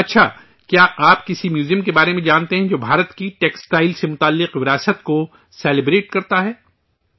اچھا! کیا آپ ایسے کسی میوزیم کے بارے میں جانتے ہیں جو بھارت کی ٹیکسٹائل سے جڑی وراثت کو سیلیبریٹ کرتاہ ے